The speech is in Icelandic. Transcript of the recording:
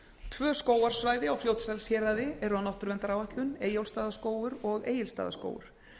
tvö skógarsvæði á fljótsdalshéraði eru á náttúruverndaráætlun eyjólfsstaðaskógur og egilsstaðaskógur